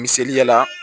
Misaliya la